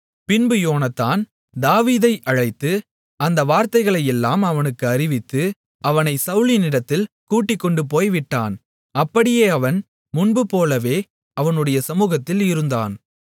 பின்பு யோனத்தான் தாவீதை அழைத்து அந்த வார்த்தைகளையெல்லாம் அவனுக்கு அறிவித்து அவனைச் சவுலினிடத்தில் கூட்டிக்கொண்டுபோய் விட்டான் அப்படியே அவன் முன்புபோலவே அவனுடைய சமுகத்தில் இருந்தான்